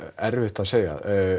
erfitt að segja